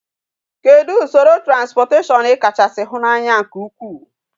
Kedu usoro transportation ikacha si hu na anya nke ukwu?